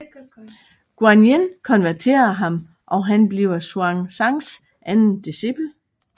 Guān Yīn konverterer ham og han bliver Xuán Zàngs anden discipel